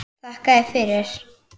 Þakka þér fyrir!